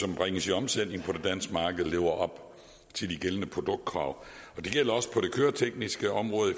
som bringes i omsætning på det danske marked lever op til de gældende produktkrav det gælder også på det køretekniske område i